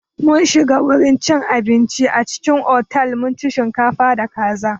Mun shiga wurin cin abinci a cikin otal mun ci shinkafa da kaza.